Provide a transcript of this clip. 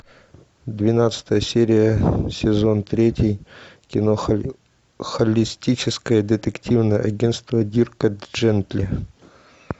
двенадцатая серия сезон третий кино холистическое детективное агентство дирка джентли